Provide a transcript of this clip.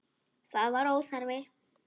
Það var óþarfi.